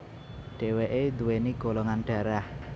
Dheweke duweni golongan dharah